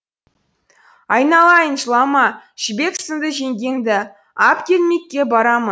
айналайын жылама жібек сынды жеңгеңді ап келмекке барамын